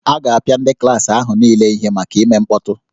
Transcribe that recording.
A ga-apịa ndị klaasị ahụ niile ihe maka ime mkpọtụ